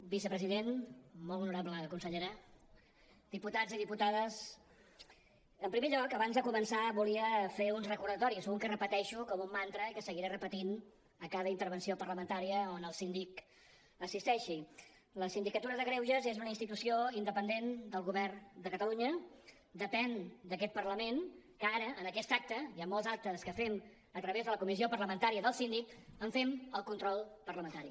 vicepresident molt honorable consellera diputats i diputades en primer lloc abans de començar volia fer uns recordatoris un que repeteixo com un mantra i que seguiré repetint a cada intervenció parlamentària on el síndic assisteixi la sindicatura de greuges és una institució independent del govern de catalunya depèn d’aquest parlament que ara en aquest acte i en molts altres que fem a través de la comissió parlamentària del síndic en fem el control parlamentari